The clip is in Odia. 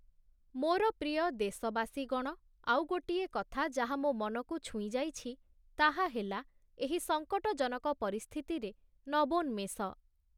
ମୋର ପ୍ରିୟ ଦେଶବାସୀଗଣ, ଆଉ ଗୋଟିଏ କଥା ଯାହା ମୋ' ମନକୁ ଛୁଇଁଯାଇଛି, ତାହାହେଲା ଏହି ସଂକଟଜନକ ପରିସ୍ଥିତିରେ ନବୋନ୍ମେଷ ।